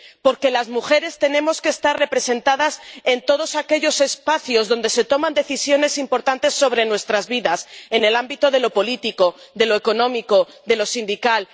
Porque las mujeres tenemos que estar representadas en todos aquellos espacios en los que se toman decisiones importantes sobre nuestras vidas en el ámbito de lo político, de lo económico, de lo sindical.